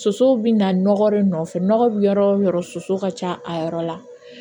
Sosow bɛ na nɔgɔ de nɔfɛ nɔgɔ bɛ yɔrɔ o yɔrɔ soso ka ca a yɔrɔ la